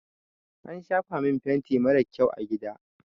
An shafa min fenti marar kyau a gida.